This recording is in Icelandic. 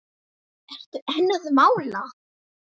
Ertu enn að mála?